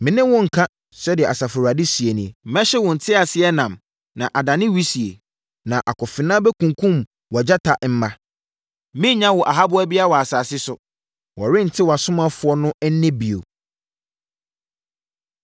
“Me ne wo nnka,” sɛdeɛ Asafo Awurade seɛ ni, “Mɛhye wo nteaseɛnam na adane wisie na akofena bɛkunkum wʼagyata mma. Merennya wo ahaboa biara wɔ asase so. Wɔrente wʼasomafoɔ no nne bio.”